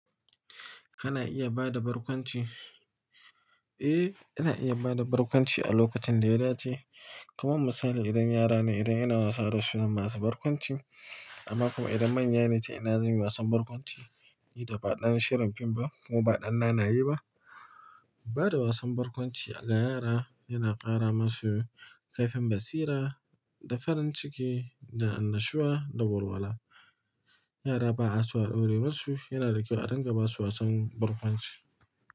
Kana iya bada barkwanci? Eh, ina iya bada barkwanci a lokacin da ya dace. Kaman misali idan yara ne, idan ina wasa da su zaba su barkwanci. Amma kuma idan manya ne, ta ina zan yi wasan barkwanci? Ni da ba ɗan shirin fim ba ko ba ɗan nanaye ba. Bada wasan barkwanci ga yara yana ƙara masu kaifin basira, da farin ciki, da annashuwa, da walwala. Yara ba'a su aɗaure masu, yana da kyau a ringa basu wasan barkwanci.